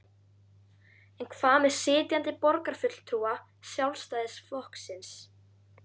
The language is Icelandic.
En hvað með sitjandi borgarfulltrúa Sjálfstæðisflokksins?